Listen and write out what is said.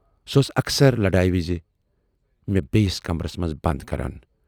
سۅ ٲس اکثر لڑایہِ وِزِ مےٚ بییِس کمرس منز بَند کران۔